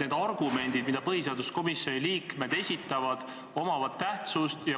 need argumendid, mida põhiseaduskomisjoni liikmed esitavad, omavad tähtsust.